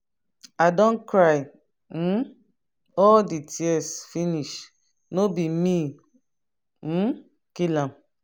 i don cry um all the tears finish no be me um kill am.